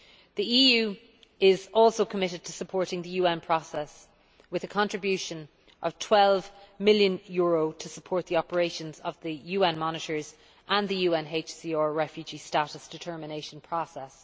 The EU is also committed to supporting the UN process with a contribution of EUR 12 million to support the operations of the UN monitors and the UNHCR refugee status determination process.